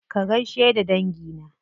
Ka gaishe da dangi na.